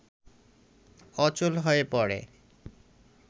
অচল হয়ে পড়ে